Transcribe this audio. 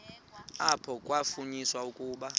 apho kwafunyaniswa ukuba